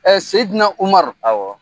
Seyidina Umaru. Awɔ.